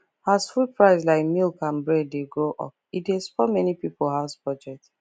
as food price like milk and bread dey go up e dey spoil many people house budget